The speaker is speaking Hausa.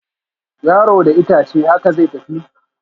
Yaro da itace, haka zai tafi